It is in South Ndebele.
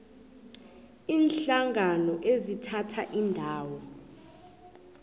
iinhlangano ezithatha indima